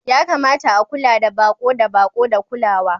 Ya kamata a kula da baƙo da baƙo da kulawa.